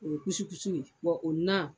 O kusikusi o na.